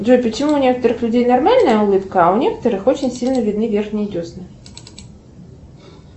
джой почему у некоторых людей нормальная улыбка а у некоторых очень сильно видны верхние десны